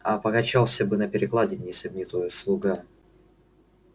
а покачался бы на перекладине если б не твой слуга